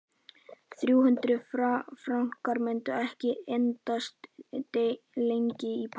Þrjú hundruð frankar myndu ekki endast lengi í París.